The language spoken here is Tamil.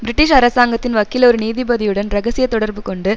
பிரிட்டிஷ் அரசாங்கத்தின் வக்கீல் ஒரு நீதிபதியுடன் இரகசிய தொடர்பு கொண்டு